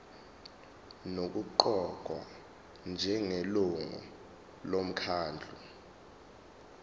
nokuqokwa njengelungu lomkhandlu